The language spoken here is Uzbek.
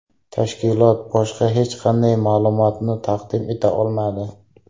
Tashkilot boshqa hech qanday ma’lumotni taqdim eta olmadi.